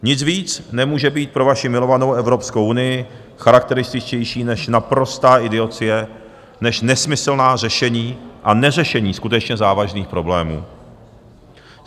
Nic víc nemůže být pro vaši milovanou Evropskou unii charakterističtější než naprostá idiocie, než nesmyslná řešení a neřešení skutečně závažných problémů.